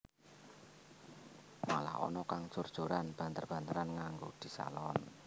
Malah ana kang jor joran banter banteran nganggo disalon